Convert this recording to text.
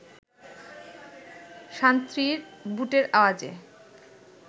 সান্ত্রীর বুটের আওয়াজে